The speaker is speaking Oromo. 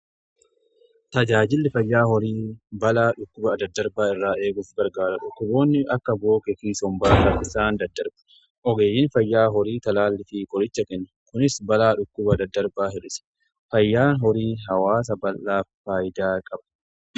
Tajaajilli fayyaa horii balaa dhukkuba daddarbaa irraa eeguuf gargaara. Dhukuboonni akka bookee fi sombaa rakisaa daddarba ogeeyyin fayyaa horii talaallii fi qolicha kennan kunis balaa dhukkuba daddarbaa hir'isee, fayyaan horii hawaasaa faayidaa qaba.